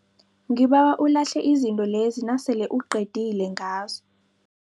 Ngibawa ulahle izinto lezi nasele uqedile ngazo.